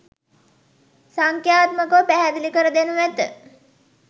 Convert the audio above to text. සංක්‍යාත්මකව පැහැදිලිකර දෙනු ඇත.